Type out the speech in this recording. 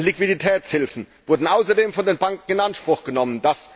EUR an Liquiditätshilfen wurden außerdem von den Banken in Anspruch genommen!